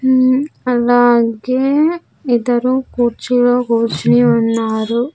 మ్మ్ అలాగే ఇద్దరు కుర్చీలో కూర్చుని ఉన్నారు.